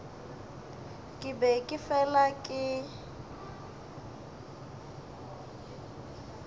ke be ke fela ke